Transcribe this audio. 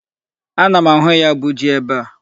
Ana m ahụ ya bụ ji ebe a.